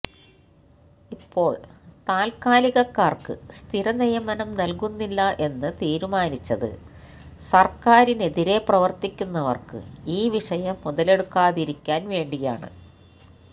ഇപ്പോൾ താൽക്കാലികക്കാർക്ക് സ്ഥിര നിയമനം നൽകുന്നില്ല എന്ന് തീരുമാനിച്ചത് സർക്കാരിനെതിരെ പ്രവർത്തിക്കുന്നവർക്ക് ഈ വിഷയം മുതലെടുക്കാതിരിക്കാൻ വേണ്ടിയാണ്